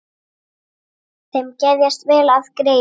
Þeim geðjast vel að Gerði.